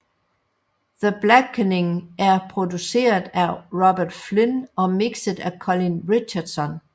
The Blackening er produceret af Robert Flynn og mixet af Colin Richardson